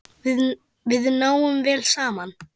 Við náum vel saman.